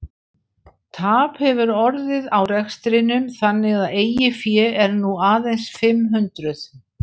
Tap hefur orðið á rekstrinum þannig að eigið fé er nú aðeins fimm hundruð.